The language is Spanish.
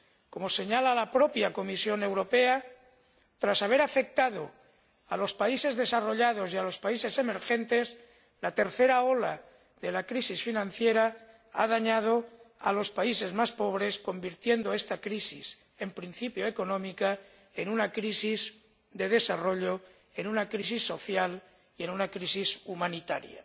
Como señala la propia Comisión Europea, tras haber afectado a los países desarrollados y a los países emergentes, la tercera ola de la crisis financiera ha dañado a los países más pobres, convirtiendo esta crisis, en principio económica, en una crisis de desarrollo, en una crisis social y en una crisis humanitaria.